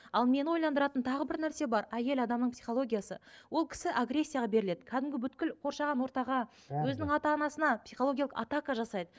ал мені ойландыратын тағы бір нәрсе бар әйел адамның психологиясы ол кісі агрессияға беріледі кәдімгі қоршаған ортаға өзінің ата анасына психологиялық атака жасайды